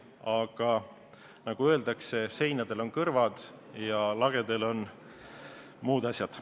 Aga nagu öeldakse, seinadel on kõrvad ja lagedel on muud asjad.